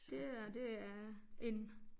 Det her det er en